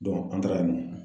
an taara yen nɔ.